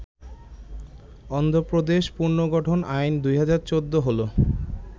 অন্ধ্রপ্রদেশ পুনর্গঠন আইন, ২০১৪ হল